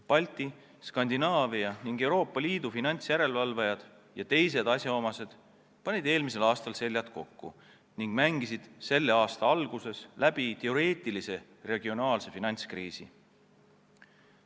Balti, Skandinaavia ning Euroopa Liidu finantsjärelevalvajad ja teised asjaosalised panid eelmisel aastal seljad kokku ning mängisid selle aasta alguses läbi teoreetilise regionaalse finantskriisi.